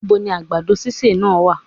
Níboni àgbàdo sísè náà wá?